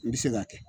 I bɛ se k'a kɛ